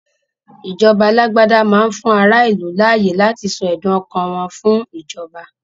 Ìjọba alágbádá máá ń fún ará ìlú láyé láti sọ ẹdùn ọkàn wọn fún ìjọba